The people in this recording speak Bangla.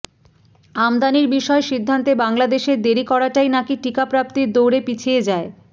আমদানির বিষয়ে সিদ্ধান্তে বাংলাদেশের দেরি করাটাই নাকী টিকা প্রাপ্তির দৌড়ে পিছিয়ে যায়